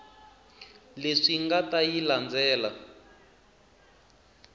leswi nga ta yi landzela